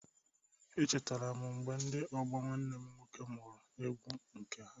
E chetara m mgbe ndị ọgbọ nwanne m nwoke mụrụ egwu nke ha.